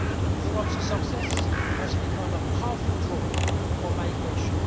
Europe's success has become a powerful draw for migration.